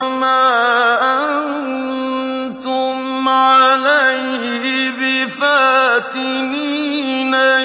مَا أَنتُمْ عَلَيْهِ بِفَاتِنِينَ